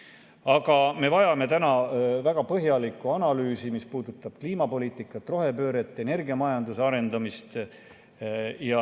Aga me vajame täna väga põhjalikku analüüsi, mis puudutab kliimapoliitikat, rohepööret, energiamajanduse arendamist.